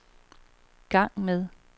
gang med